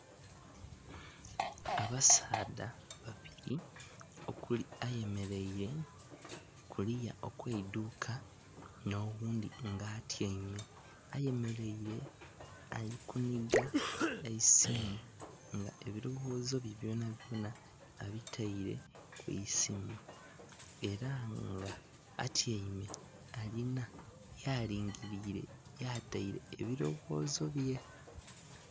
Abasaadha babili okuli ayemeleile kuliya okw'eidhuuka n'oghundhi nga atyaime. Ayemeleile ali kunhiga eisimu nga ebilowoozo bye byonabyona abitaile ku isimu. Ela nga atyaime alina ya lingiliile yataile ebilowoozo bye.